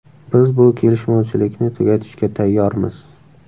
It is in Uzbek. Biz bu kelishmovchilikni tugatishga tayyormiz.